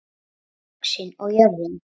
ÖXIN OG JÖRÐIN